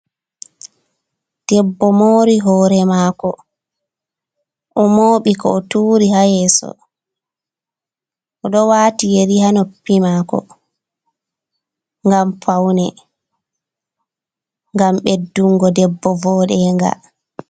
Debbo moori hoore maako, o mooɓi ka o tuuri haa yeeso, o ɗo waati yeri haa noppi maako, ngam pawne, ngam ɓeddungo debbo vooɗeenga.